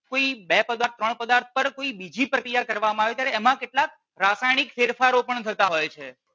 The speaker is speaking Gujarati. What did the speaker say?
કોઈ બે પદાર્થ ત્રણ પદાર્થ પર કોઈ બીજી પ્રક્રીયા કરવામાં આવે ત્યારે એમા કેટલાક રાસાયણીક ફેરફારો પણ થતા હોય છે.